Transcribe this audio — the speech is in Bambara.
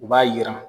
U b'a yira